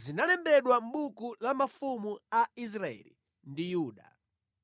zinalembedwa mʼbuku la mafumu a Israeli ndi Yuda.